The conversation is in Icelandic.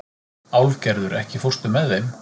Álfgerður, ekki fórstu með þeim?